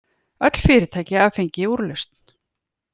Öll fyrirtæki hafa fengið úrlausn